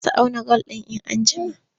Za su auna gwal. in an jima